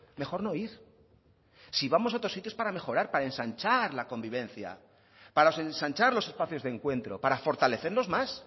mejor no ir si vamos a otros sitio es para mejorar para ensanchar la convivencia para ensanchar los espacios de encuentro para fortalecerlos más